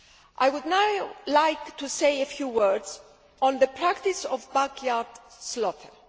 I would now like to say a few words on the practice of backyard slaughter.